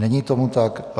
Není tomu tak.